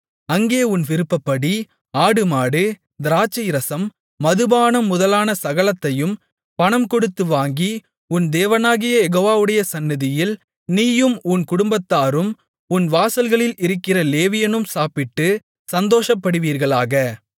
அங்கே உன் விருப்பப்படி ஆடுமாடு திராட்சைரசம் மதுபானம் முதலான சகலத்தையும் பணம் கொடுத்து வாங்கி உன் தேவனாகிய யெகோவாவுடைய சந்நிதியில் நீயும் உன் குடும்பத்தாரும் உன் வாசல்களில் இருக்கிற லேவியனும் சாப்பிட்டுச் சந்தோஷப்படுவீர்களாக